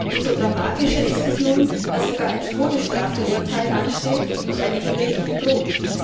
Umso dramatischer ist es nun, dass ein Todesstrafenurteil ansteht und eine Hinrichtung droht.